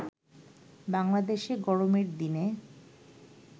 বাংলাদেশে গরমের দিনে